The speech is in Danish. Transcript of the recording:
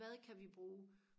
hvad kan vi bruge